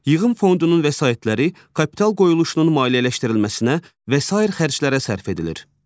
Yığım fondunun vəsaitləri kapital qoyuluşunun maliyyələşdirilməsinə və sair xərclərə sərf edilir.